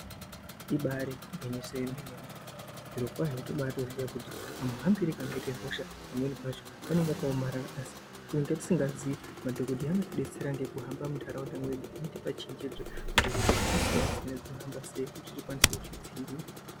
Ibari gwinyiso yemene mene zvirokwazvo tobatoziya kuti kamuhambire kanoite hosha pamweni pacho kanenge kakaomarara asi kunyange tisingazivi, madhokodheya anotibetsera ngekuhamba mundaraunda mwedu veitipa chenjedzo kuti hosha dzakasiyana siyana dzinohamba sei kuti tikwanise kuzvidziirira.